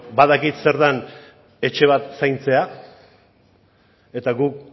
badakit zer den etxe bat zaintzea eta guk